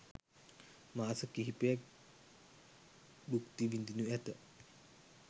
මාස කිහිපයක් භුක්ති විඳිනු ඇත.